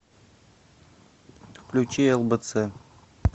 включи лбц